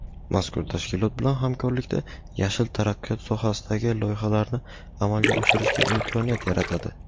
mazkur tashkilot bilan hamkorlikda "yashil" taraqqiyot sohasidagi loyihalarni amalga oshirishga imkoniyat yaratadi.